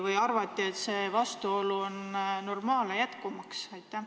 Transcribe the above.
Või arvati, et see vastuolu on normaalne, las jätkub?